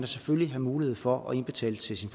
selvfølgelig have mulighed for at indbetale til sin